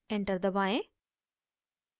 enter दबाएं